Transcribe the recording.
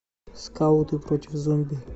скауты против зомби